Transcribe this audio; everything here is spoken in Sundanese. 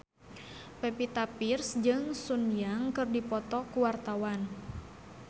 Pevita Pearce jeung Sun Yang keur dipoto ku wartawan